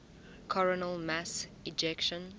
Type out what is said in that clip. coronal mass ejections